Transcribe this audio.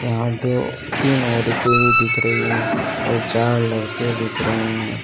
यहां दो तीन औरतें भी दिख रही हैं और चार लड़के दिख रहे हैं।